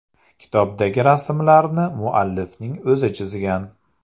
Kitobdagi rasmlarni muallifning o‘zi chizgan.